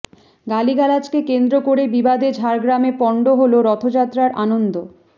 গালিগালাজকে কেন্দ্র করে বিবাদে ঝাড়গ্রামে পন্ড হল রথযাত্রার আনন্দ